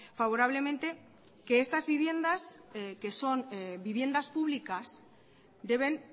favorablemente que estas viviendas que son viviendas públicas deben